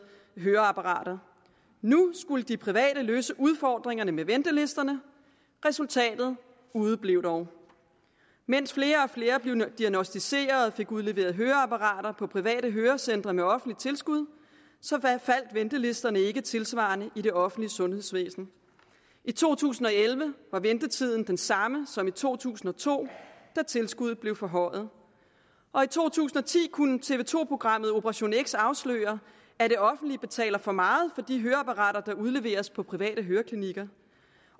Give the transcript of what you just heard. høreapparater nu skulle de private løse udfordringerne med ventelisterne resultatet udeblev dog mens flere og flere blev diagnosticeret og fik udleveret høreapparater på private hørecentre med offentligt tilskud faldt ventelisterne ikke tilsvarende i det offentlige sundhedsvæsen i to tusind og elleve var ventetiden den samme som i to tusind og to da tilskuddet blev forhøjet og i to tusind og ti kunne tv to programmet operation x afsløre at det offentlige betaler for meget for de høreapparater der udleveres på private høreklinikker